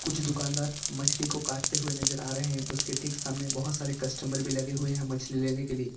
कुछ दुकानदार मछली को काटते हुए नजर आ रहे हैं उसके ठीक सामने बहुत सारे कस्टमर भी लगे हुए हैं मछली लेने के लिए।